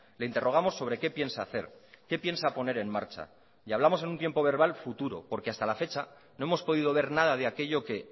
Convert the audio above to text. le interrogamos sobre qué piensa hacer qué piensa poner en marcha y hablamos en un tiempo verbal futuro porque hasta la fecha no hemos podido ver nada de aquello que